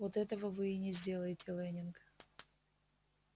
вот этого вы и не сделаете лэннинг